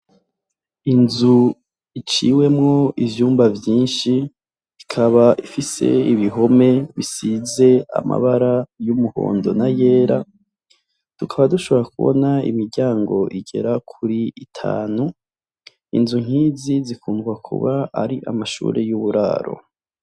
Inzu iciwemwo ivyumba vyishi ikaba ifise ibihome bisize amabara y'umuhondo n'ayera tukaba dushobora kubona imiryango igera kuri itanu inzu nkizi zikundwa kuba ari amashuri y'uburaro.